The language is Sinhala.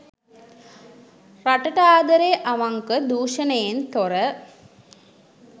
රටට ආදරේ අවංක දුෂණයෙන් තොර